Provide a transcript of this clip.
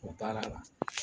O baara la.